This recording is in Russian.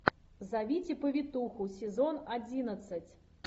зовите повитуху сезон одиннадцать